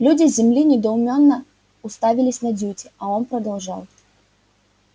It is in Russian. люди с земли недоуменно уставились на дьюти а он продолжал